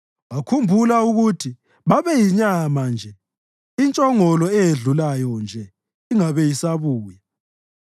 Wakhumbula ukuthi babeyinyama nje intshongolo eyedlulayo nje ingabe isabuya.